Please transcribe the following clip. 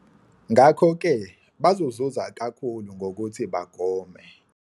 Ngakho-ke bazozuza kakhulu ngokuthi bagome.